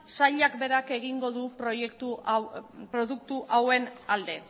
sailak berak egingo du produktu hauen alde